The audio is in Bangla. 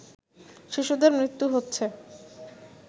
শিশুদের মৃত্যু হচ্ছে